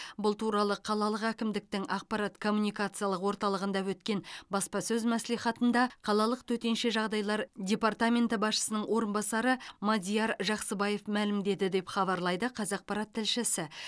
бұл туралы қалалық әкімдіктің ақпарат коммуникациялық орталығында өткен баспасөз мәслихатында қалалық төтенше жағдайлар департаменті басшысының орынбасары мадияр жақсыбаев мәлімдеді деп хабарлайды қазақпарат тілшісі